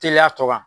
Teliya tɔ kan